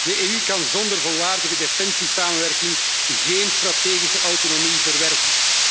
De EU kan zonder volwaardige defensiesamenwerking geen strategische autonomie verwerven.